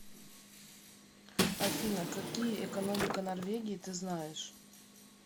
афина какие экономика норвегии ты знаешь